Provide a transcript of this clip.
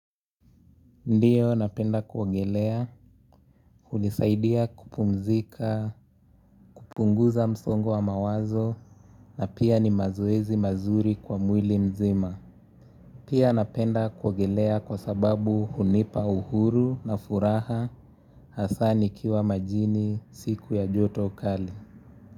Ndiyo napenda kuogelea, hunisaidia kupumzika, kupunguza msongo wa mawazo na pia ni mazoezi mazuri kwa mwili mzima. Pia napenda kuogelea kwa sababu hunipa uhuru na furaha hasa nikiwa majini siku ya joto kali.